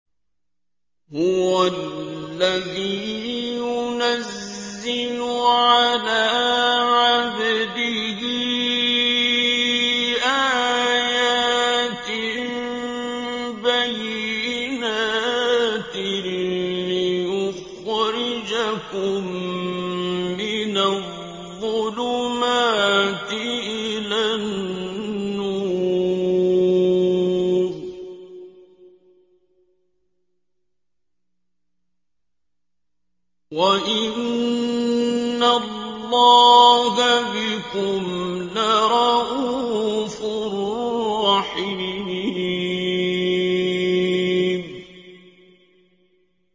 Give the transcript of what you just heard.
هُوَ الَّذِي يُنَزِّلُ عَلَىٰ عَبْدِهِ آيَاتٍ بَيِّنَاتٍ لِّيُخْرِجَكُم مِّنَ الظُّلُمَاتِ إِلَى النُّورِ ۚ وَإِنَّ اللَّهَ بِكُمْ لَرَءُوفٌ رَّحِيمٌ